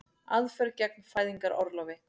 Aðför gegn fæðingarorlofi